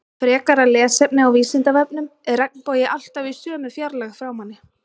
Frekara lesefni á Vísindavefnum Er regnbogi alltaf í sömu fjarlægð frá manni?